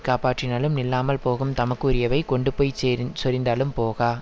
காப்பாற்றினாலும் நில்லாமல் போகும் தமக்கு உரியவை கொண்டு போய் செரி சொரிந்தாலும் போகா